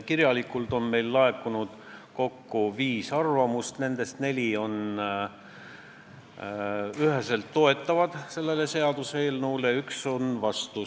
Meile laekus viis kirjalikku arvamust, nendest neli on seaduseelnõu üheselt toetavad ja üks on vastu.